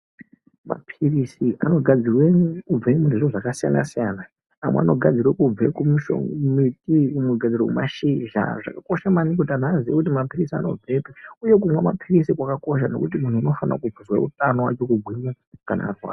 Mapiritsi anogadzirwe nezvinhu zvakasiyana-siyana mamwe anogadzirwe kubve kumiti mamwe anogadzirwe kubva kumashizha, zvakakosha maningi kuti vanhu vazive kuti mapiritsi anobvepi uye kunwa mapiritsi kwakakosha nokuti muntu unofanirwe kuve neutano nokugwinya.